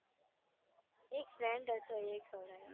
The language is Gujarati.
એક friend હતો એને ખવડાવી